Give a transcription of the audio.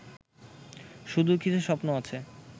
শুধু কিছু স্বপ্ন আছে